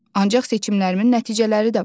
Ancaq seçimlərimin nəticələri də var.